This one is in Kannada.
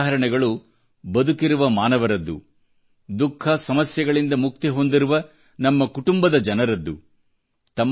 ಈ ಘಟನೆಗಳು ಬದುಕಿರುವ ಮಾನವರದ್ದು ದುಃಖಸಮಸ್ಯೆಗಳಿಂದ ಮುಕ್ತಿ ಹೊಂದಿರುವ ನಮ್ಮ ಪರಿವಾರದ ಜನರದ್ದು